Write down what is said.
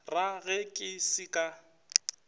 ra ge ke se ka